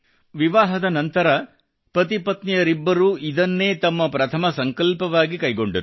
ವಿವಾಹದ ನಂತರ ಪತಿಪತ್ನಿಯರಿಬ್ಬರೂ ಇದನ್ನೇ ತಮ್ಮ ಪ್ರಥಮ ಸಂಕಲ್ಪವಾಗಿ ಕೈಗೊಂಡರು